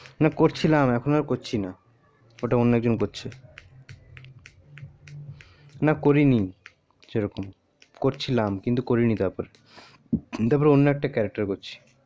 করছিলাম এখন আর করছি না ওটা অন্য একজন করছে না করিনি সেরকম করছিলাম কিন্তু করিনি তার পর অন্য একটা character করছি